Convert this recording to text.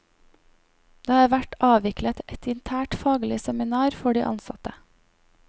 Det har vært avviklet ett internt faglig seminar for de ansatte.